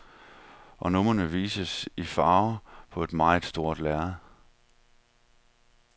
Og numrene vises i farver på et meget stort lærred.